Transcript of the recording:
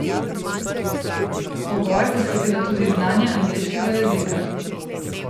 Pogoj bo seveda tudi znanje angleškega jezika.